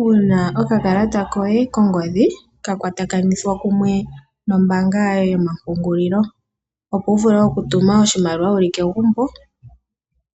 uuna okakalata koye kongodhi ka kwatakanithwa kumwe nombaanga yoye yoma pungulilo opo wu vule oku tuma oshimaliwa wuli kegumbo.